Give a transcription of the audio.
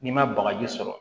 N'i ma bagaji sɔrɔ